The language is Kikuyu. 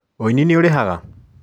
ũini nĩũrĩhaga?